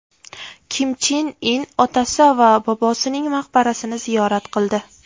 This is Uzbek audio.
Kim Chen In otasi va bobosining maqbarasini ziyorat qildi.